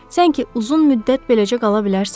Sən ki uzun müddət beləcə qala bilərsən?